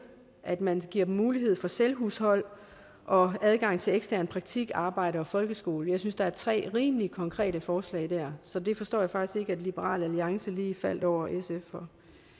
at man giver dem mulighed for selvhushold og adgang til ekstern praktik arbejde og folkeskole jeg synes der er tre rimelig konkrete forslag der så det forstår jeg faktisk ikke at liberal alliance lige faldt over sf for